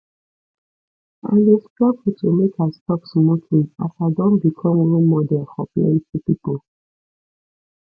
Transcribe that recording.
i dey struggle to make i stop smoking as i don become role model for plenty pipo